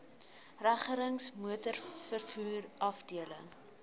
regerings motorvervoer afdeling